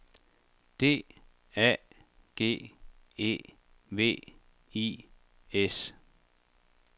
D A G E V I S